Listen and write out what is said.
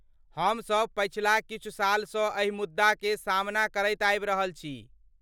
हम सभ पछिला किछु सालसँ एहि मुद्दाकेँ सामना करैत आबि रहल छी।